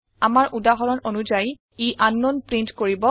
আমাৰ উদাহৰণ অনুযায়ী ই আংকনাউন প্ৰীন্ট কৰিব